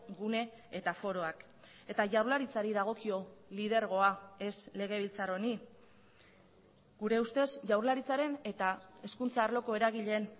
gune eta foroak eta jaurlaritzari dagokio lidergoa ez legebiltzar honi gure ustez jaurlaritzaren eta hezkuntza arloko eragileen